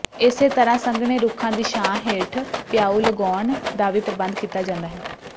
ਇਸੇ ਤਰ੍ਹਾਂ ਸੰਘਣੇ ਰੁੱਖਾਂ ਦੀ ਛਾਂ ਹੇਠ ਪਿਆਊ ਲਗਾਉਣ ਦਾ ਵੀ ਪ੍ਰਬੰਧ ਕੀਤਾ ਜਾਂਦਾ ਹੈ